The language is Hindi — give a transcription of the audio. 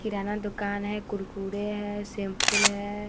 किराना दूकान है कुरकुरे है सेम्पुल है।